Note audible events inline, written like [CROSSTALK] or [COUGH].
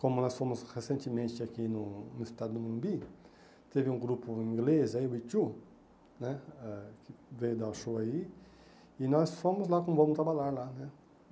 Como nós fomos recentemente aqui no no estádio do Morumbi, teve um grupo inglês aí, o, [UNINTELLIGIBLE] né ãh que veio dar o show aí, e nós fomos lá com o Vamos Abalar lá né.